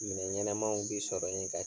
Minɛn ɲɛnamaw bɛ sɔrɔ yen ka